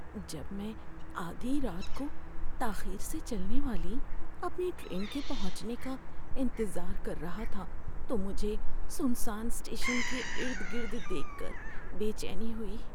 جب میں آدھی رات کو تاخیر سے چلنے والی اپنی ٹرین کے پہنچنے کا انتظار کر رہا تھا تو مجھے سنسان اسٹیشن کے ارد گرد دیکھ کر بے چینی ہوئی۔